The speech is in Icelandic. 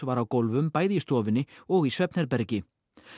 var á gólfum bæði í stofunni og í svefnherbergi